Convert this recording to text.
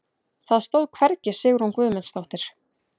Það stóð hvergi Sigrún Guðmundsdóttir.